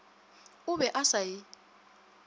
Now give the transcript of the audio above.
o be a sa e